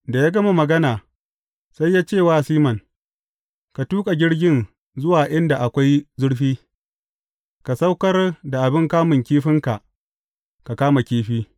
Da ya gama magana, sai ya ce wa Siman, Ka tuƙa jirgin zuwa inda akwai zurfi, ka saukar da abin kamun kifinka ka kama kifi.